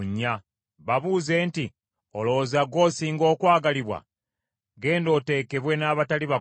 Babuuze nti, ‘Olowooza gw’osinga okwagalibwa? Ggenda oteekebwe n’abatali bakomole.’